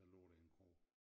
Der lå der en kro